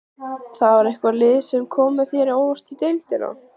Var eitthvað lið sem kom þér á óvart í deildinni?